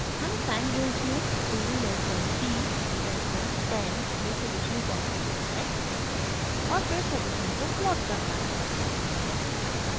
हमें time range 2 less than t less than 10 में solution ज्ञात करना है और फिर सॉल्यूशन को प्लॉट करना है